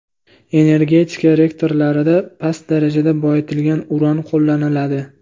Energetika reaktorlarida past darajada boyitilgan uran qo‘llaniladi.